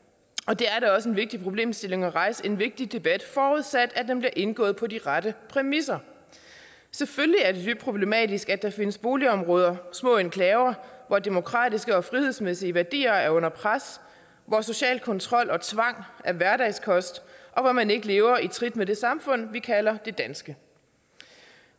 det er da også en vigtig problemstilling at rejse en vigtig debat forudsat den bliver indgået på de rette præmisser selvfølgelig er det dybt problematisk at der findes boligområder små enklaver hvor demokratiske og frihedsmæssige værdier er under pres hvor social kontrol og tvang er hverdagskost og hvor man ikke lever i trit med det samfund vi kalder det danske